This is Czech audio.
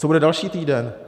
Co bude další týden?